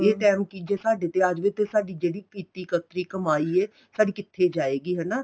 ਇਹ time ਕੀ ਜੇ ਸਾਡੇ ਤੇ ਆ ਜਵੇ ਤੇ ਸਾਡੀ ਜਿਹੜੀ ਕੀਤੀ ਕਤਰੀ ਕਮਾਈ ਏ ਸਾਡੀ ਕਿੱਥੇ ਜਾਏਗੀ ਹਨਾ